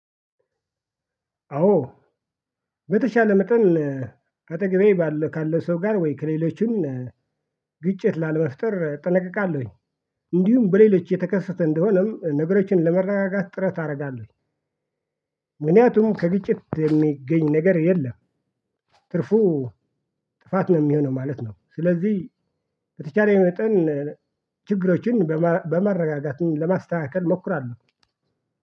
አዎ በተሻለ መጠን ካጠገቤ ባለ ካለ ሰው ጋር ወይ ከሌሎችም ግጭት ላለመፍጠር እጠነቀቃለሁኝ። እንዲሁም በሌሎች የተከሰተ እንደሆነም ነገሮችን ለመረጋጋት ጥረት አደርጋለሁ። ምክንያቱም ከግጭት የሚገኝ ነገር የለም። ትርፉ ጥፋት ነው የሚሆነው ማለት ነው። ስለዚህ በተቻለኝ መጠን ችግሮችን በማረጋጋት ለማስተካከል እሞክራለሁ።